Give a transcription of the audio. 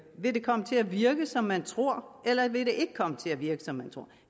vil det komme til at virke som man tror eller vil det ikke komme til at virke som man tror